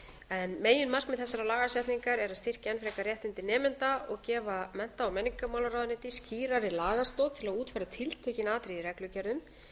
breytingum meginmarkmið þessarar lagasetningar er að styrkja enn frekar réttindi nemenda og gefa mennta og menningarmálaráðuneyti skýrari lagastoð til að útfæra tiltekin atriði í reglugerðum